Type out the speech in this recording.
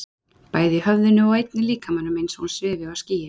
Bæði í höfðinu og einnig líkamanum, eins og hún svifi á skýi.